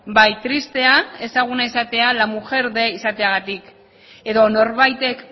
bai tristea ezaguna izatea la mujer de izateagatik edo norbaitek